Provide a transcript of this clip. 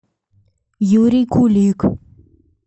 юрий кулик